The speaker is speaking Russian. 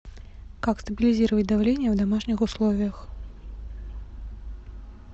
как стабилизировать давление в домашних условиях